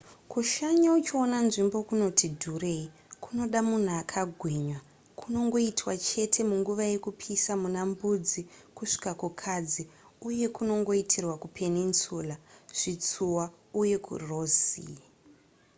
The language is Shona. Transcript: kushanya uchiona nzvimbo kunoti dhurei kunoda munhu akagwinya kunongoitwa chete munguva yekupisa muna mbudzi kusvika kukadzi uye kunongoitirwa kupeninsula zvitsuwa uye kuross sea